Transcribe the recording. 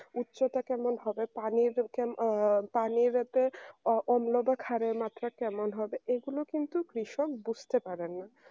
উচ্চতা কেমন হবে পানির কেমন পানির এতে অন্যদের খারের মাত্রা কেমন হবে এগুলো কিন্তু কৃষক বুঝতে পারেন না